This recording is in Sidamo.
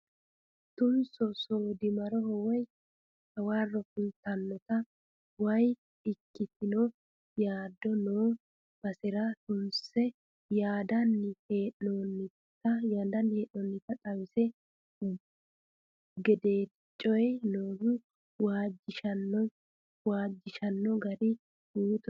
Tunso soodimaroho woyi hawaro fultanotta woyi ikkitino yaado no basera tunsiise yaandannni hee'nonnitta xawisano gedeti coyi noohu waajjishshano waajjishano gari buuttote.